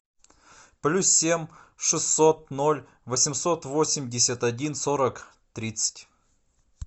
плюс семь шестьсот ноль восемьсот восемьдесят один сорок тридцать